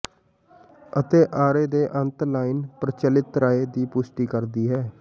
ਅਤੇ ਆਰੇ ਦੇ ਅੰਤ ਲਾਈਨ ਪ੍ਰਚਲਿਤ ਰਾਏ ਦੀ ਪੁਸ਼ਟੀ ਕਰਦੀ ਹੈ